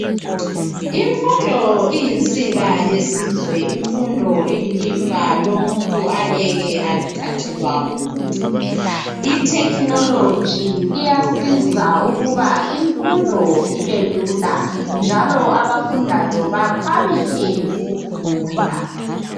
Imfundo iyinsika yelizwe imfundo iyilifa umuntu angeke elithathelwe ngumuntu , itechnology iyasiza ukuba imfundo ibelula njalo abafundayo bakhwabithe ukufunda.